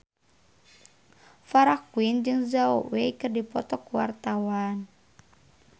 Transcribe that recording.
Farah Quinn jeung Zhao Wei keur dipoto ku wartawan